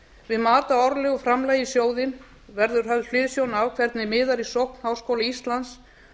við mat á árlegu framlagi í sjóðinn verður höfð hliðsjón af hvernig miðar í sókn háskóla íslands